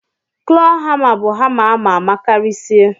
klọ hama bu hama amama karisie.